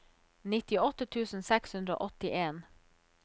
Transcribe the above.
nittiåtte tusen seks hundre og åttien